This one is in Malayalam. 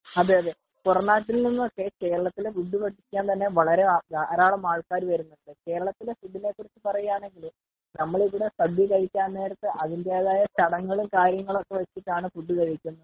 അതെ അതെ.പുറം നാട്ടിൽ നിന്ന് ഒക്കെ കേരളത്തിലെ ഫുഡ്‌ ഭക്ഷിക്കാൻ തന്നെ വളരെ ധാരാളം ആള്ക്കാര് വരുന്നുണ്ട് .കേരളത്തിലെ ഫുഡ്‌ ഇനെ പറ്റി പറയുവാണെങ്കിൽ തന്നെ ,നമ്മൾ ഇവിടെ സദ്യ കഴിക്കാൻ നേരത്തു ആണെങ്കിൽ തന്നെ അതിന്റെതായ ചടങ്ങുകളും കാര്യങ്ങളും ഒക്കെ വെച്ചിട്ടു ആണ് ഫുഡ്‌ കഴിക്കുന്നത്.